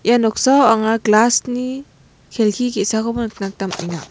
ia noksao anga glass -ni kelki ge·sakoba nikna gita man·enga.